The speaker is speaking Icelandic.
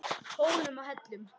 Hólum og hellum.